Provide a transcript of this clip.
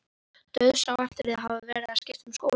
Dauðsá eftir að hafa verið að skipta um skóla.